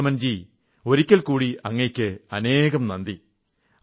രിപുദമൻ ജീ ഒരിക്കൽ കൂടി അങ്ങയ്ക്ക് അനേകം നന്ദി